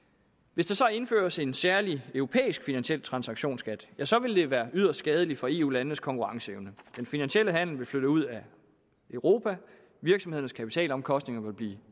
hvis der indføres en særlig europæisk finansiel transaktionsskat så vil det være yderst skadeligt for eu landenes konkurrenceevne den finansielle handel vil flytte ud af europa og virksomhedernes kapitalomkostninger vil blive